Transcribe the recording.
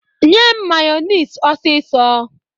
Nye m mayọnis ọsisọ!